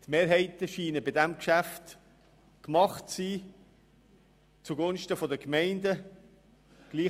Die Mehrheiten scheinen bei diesem Geschäft zugunsten der Gemeinden gemacht zu sein.